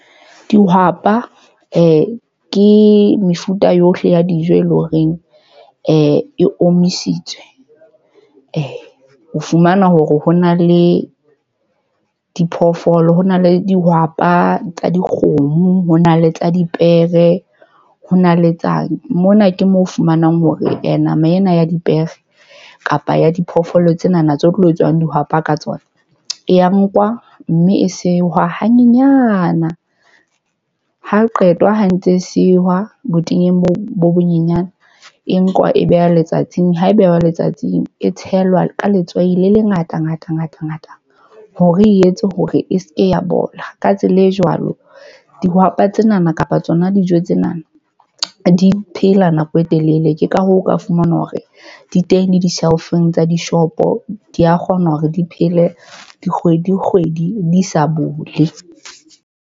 Dihwapa ke mefuta yohle ya dijo e leng horeng e omisitswe. o fumana hore ho na le diphoofolo ho na le dihwapa tsa dikgomo, ho na le tsa dipere, ho na le tsa mona ke moo o fumanang hore and nama ena ya dipere kapa ya diphoofolo tsena na tse tlo tswang dihwapa ka tsona. E ya nkwa mme e sewa ha nyenyana, ha qetwa ho ntse sewa botenya bo bo bonyenyane. E nkwa e beha letsatsing, ha e behwa letsatsing e tshelwa ka letswai le lengata ngata ngata ngata. Hore e etse hore e seke ya bola. Ka tsela e jwalo, dihwapa tsenana kapa tsona dijo tsenana di phela nako e telele. Ke ka hoo, o ka fumana hore di teng di-shelf-eng tsa dishopo. Di a kgona hore di phele dikgwedi kgwedi di sa bole.